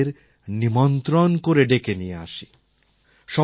আমরা এদের নিমন্ত্রণ করে ডেকে নিয়ে আসি